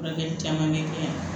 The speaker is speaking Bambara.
Furakɛli caman bɛ kɛ yan